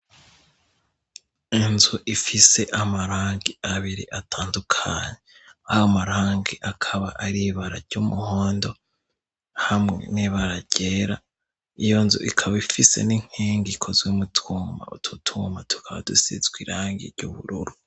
Inzu ifise amarangi abiri atandukanyi aho amarangi akaba aribarary'umuhondo hamwe nibararera iyo nzu ikaba ifise n'inkenga ikozwe'umutwuma ututumuma tukadusizwa irangirye ubururu.